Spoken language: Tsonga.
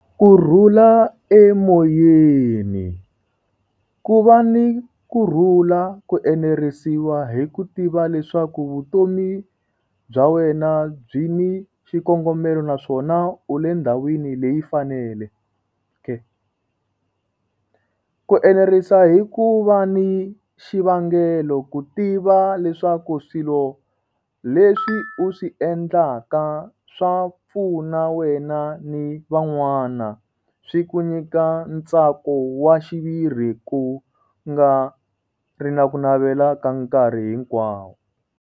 Kurhula emoyeni, ku va ni kurhula ku enerisiwa hi ku tiva leswaku vutomi bya wena byi ni xikongomelo naswona u le ndhawini leyi fanele k. Ku enerisa hi ku va ni xivangelo ku tiva leswaku swilo leswi u swi endlaka swa pfuna wena ni van'wana swi ku nyika ntsako wa xiviri ku nga ri na ku navela ka nkarhi hinkwawo.